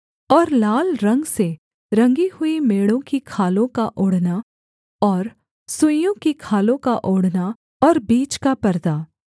और लाल रंग से रंगी हुई मेढ़ों की खालों का ओढ़ना और सुइसों की खालों का ओढ़ना और बीच का परदा